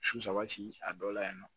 Su saba ci a dɔ la yen nɔ